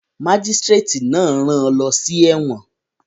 Mágísírátì náà rán an lọ sí ẹ̀wọ̀n